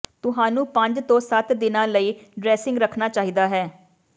ਤੁਹਾਨੂੰ ਪੰਜ ਤੋਂ ਸੱਤ ਦਿਨਾਂ ਲਈ ਡਰੈਸਿੰਗ ਰੱਖਣਾ ਚਾਹੀਦਾ ਹੈ